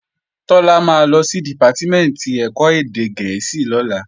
Tọ́lá máa lọ sí Dìpátímẹ̀ntì ẹ̀kọ́ èdè gẹ̀ẹ́sì lọ́la